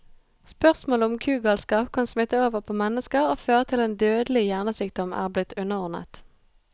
Spørsmålet om kugalskap kan smitte over på mennesker og føre til en dødelig hjernesykdom, er blitt underordnet.